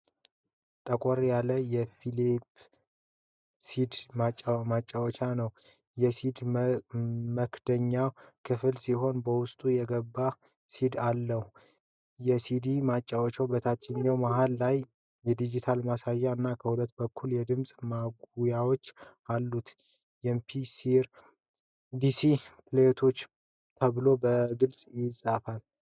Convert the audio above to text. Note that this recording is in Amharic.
ጠቆር ያለ የፊሊፕስ ሲዲ ማጫወቻ ነው። የሲዲ መክደኛው ክፍት ሲሆን በውስጡ የገባ ሲዲ አለው። ሲዲ ማጫወቻው በታችኛው መሃል ላይ ዲጂታል ማሳያ እና ከሁለቱም በኩል ድምጽ ማጉያዎች አሉት። አምፒ-ስሪ ሲዲ ፕሌይባክ ተብሎ በግልጽ ተጽፏል።